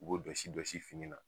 U b'o jɔsi Jɔsi fini na.